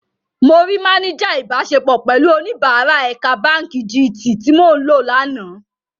Mo rí máníjà ìbáṣepọ̀ pẹ̀lú oníbàárài ẹ̀ka báǹkì jí-Tiì tí mò ń lò lánàá.